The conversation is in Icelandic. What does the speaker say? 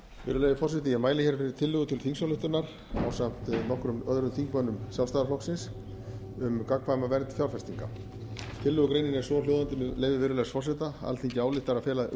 ég mæli hér fyrir tillögu til þingsályktunar ásamt nokkrum öðrum þingmönnum sjálfstæðisflokksins um gerð samninga um gagnkvæma vernd fjárfestinga tillögugreinin er svohljóðandi með leyfi virðulegs forseta alþingi ályktar að fela